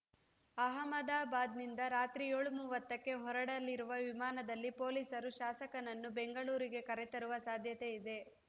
ಅಹಮದಾಬಾದ್‌ನಿಂದ ರಾತ್ರಿ ಏಳು ಮೂವತ್ತಕ್ಕೆ ಹೊರಡಲಿರುವ ವಿಮಾನದಲ್ಲಿ ಪೊಲೀಸರು ಶಾಸಕನನ್ನು ಬೆಂಗಳೂರಿಗೆ ಕರೆತರುವ ಸಾಧ್ಯತೆ ಇದೆ